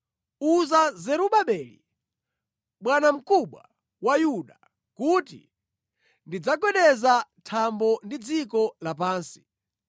“Uza Zerubabeli, bwanamkubwa wa Yuda, kuti ndidzagwedeza thambo ndi dziko lapansi.